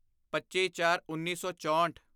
ਪੱਚੀਚਾਰਉੱਨੀ ਸੌ ਚੋਂਹਠ